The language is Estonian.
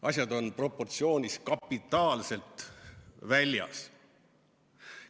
Asjad on proportsioonist kapitaalselt väljas.